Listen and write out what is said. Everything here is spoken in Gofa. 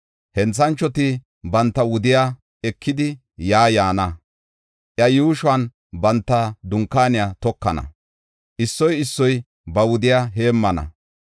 Henthanchoti banta wudiya ekidi yaa yaana. Iya yuushuwan banta dunkaaniya tokana; issoy issoy ba wudiya heemmana.